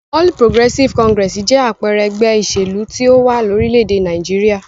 All Progressive Congress jẹ́ àpẹẹrẹ ẹgbẹ́ ìṣèlú tí ó wà lórílẹ̀-èdè Nàìjíríà.